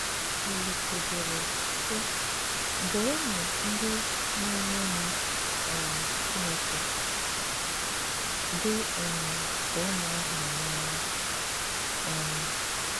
Òlìsè dèré, sị: “Bùrụnụ ndị na-eṅòmì um Chìnékè, dị um ka ụmụ a hùrù n'anya.” um